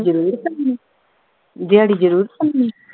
ਜ਼ਰੂਰ ਭੰਨਣੀ, ਦਿਹਾੜੀ ਜ਼ਰੂਰ ਭੰਨਣੀ